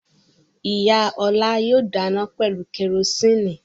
Ìyá Ọlá yóò dáná pẹ̀lú kẹrósíínì.